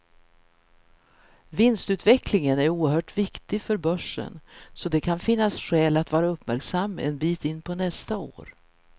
Vinstutvecklingen är oerhört viktig för börsen, så det kan finnas skäl att vara uppmärksam en bit in på nästa år.